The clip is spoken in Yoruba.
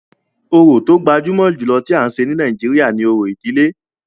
Orò tó gbajúmọ̀ jùlọ tí à ń ṣe ní Nàìjíríà ni òrò ìdílé.